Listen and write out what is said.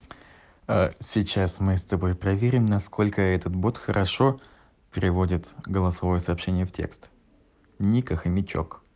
а сейчас мы с тобой проверим насколько этот будет хорошо переводит голосовое сообщение в текст ника хомячок